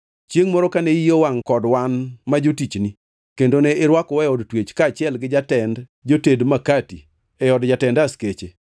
Chiengʼ moro kane iyi owangʼ kod wan ma jotichni, kendo ne irwakowa e od twech kaachiel gi jatend joted makati e od jatend askeche.